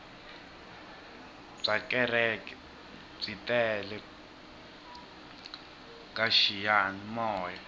byakereke byi tele kaxiyani moya